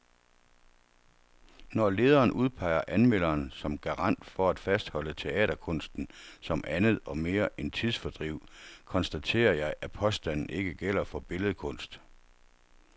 Når lederen udpeger anmelderen som garant for at fastholde teaterkunsten som andet og mere end tidsfordriv, konstaterer jeg, at påstanden ikke gælder for billedkunst.